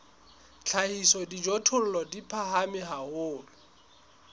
hlahisa dijothollo di phahame haholo